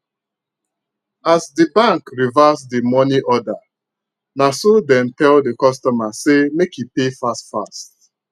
as d bank reverse the money order naso dem tell the customer say make e pay fast fast